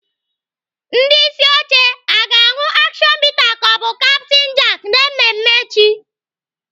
Ndị isi oche a ga-aṅụ action bitter ka ọ bụ Captain Jack na mmemme echi?